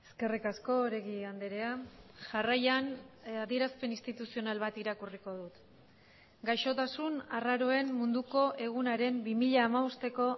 eskerrik asko oregi andrea jarraian adierazpen instituzional bat irakurriko dut gaixotasun arraroen munduko egunaren bi mila hamabosteko